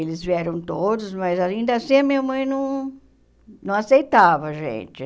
Eles vieram todos, mas ainda assim a minha mãe não não aceitava a gente.